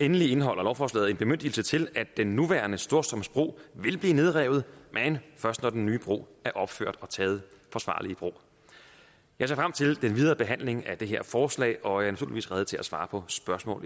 endelig indeholder lovforslaget en bemyndigelse til at den nuværende storstrømsbro vil blive nedrevet men først når den nye bro er opført og taget forsvarligt i brug jeg ser frem til den videre behandling af det her forslag og jeg er naturligvis rede til at svare på spørgsmål